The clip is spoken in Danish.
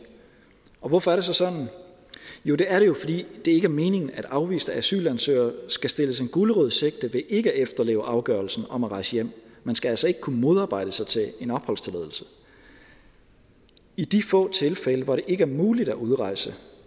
og hvorfor er det så sådan jo det er det jo fordi det ikke er meningen at afviste asylansøgere skal stilles en gulerod i sigte ved ikke at efterleve afgørelsen om at rejse hjem man skal altså ikke kunne modarbejde sig til en opholdstilladelse i de få tilfælde hvor det ikke er muligt at udrejse